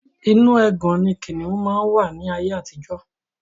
Inu ẹgàn ni kìnnìún máa ń wà ní ayé àtijọ́